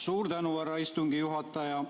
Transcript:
Suur tänu, härra istungi juhataja!